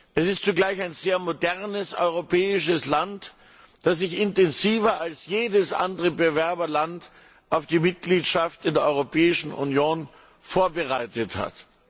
Es ist zugleich ein sehr modernes europäisches Land, das sich intensiver als jedes andere Bewerberland auf die Mitgliedschaft in der Europäischen Union vorbereitet hat.